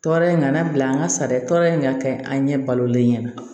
Tɔɔrɔ in kana bila an ka sari tɔ in ka kɛ an ɲɛ balolen ɲɛna